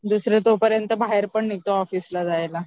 दुसरे तोपर्यंत बाहेर पण निघतात ऑफिसला जायला